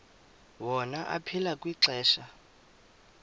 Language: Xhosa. wona aphila kwixesha